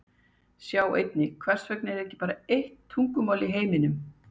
Sjá einnig: Hvers vegna er ekki bara eitt tungumál í heiminum?